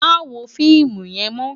Má wó fiimú yèn mò